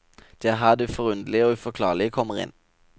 Det er her det forunderlige og uforklarlige kommer inn.